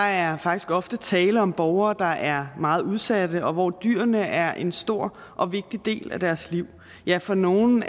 er faktisk ofte tale om borgere der er meget udsatte og hvor dyrene er en stor og vigtig del af deres liv ja for nogle